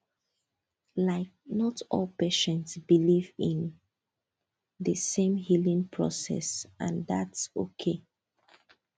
like not all patients believe in the same healing process and thats okay